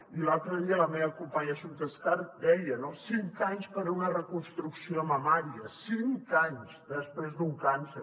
i l’altre dia la meva companya assumpta escarp ho deia no cinc anys per a una reconstrucció mamària cinc anys després d’un càncer